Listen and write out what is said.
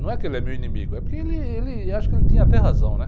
Não é que ele é meu inimigo, é porque ele, ele... acho que ele tinha até razão, né?